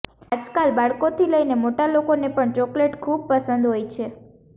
આજકાલ બાળકોથી લઇને મોટા લોકોને પણ ચોકલેટ ખૂબ પસંદ હોય છે